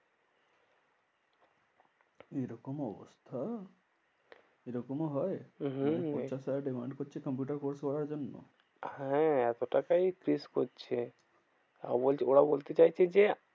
এরকম অবস্থা? এরকমও হয়? হম পঞ্চাশ হাজার টাকা demand করছে কম্পিউটার course করার জন্য। হ্যাঁ এত টাকাই fees করছে। ও বলছে ওরা বলছে চাইছে যে,